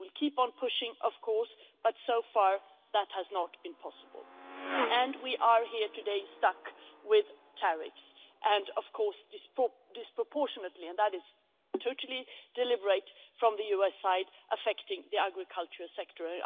We will keep on pushing, of course, but so far that has not been possible and we are here today, stuck with tariffs that are, of course, disproportionately and that is totally deliberate from the US side affecting the agricultural sector.